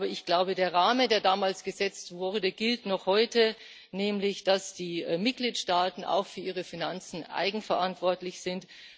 Aber ich glaube, der Rahmen, der damals gesetzt wurde, gilt noch heute, nämlich dass die Mitgliedstaaten auch für ihre Finanzen eigenverantwortlich sind.